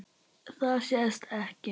Það sést ekki.